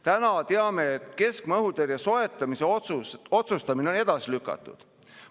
Täna teame, et keskmaa õhutõrje soetamise otsustamine on edasi lükatud.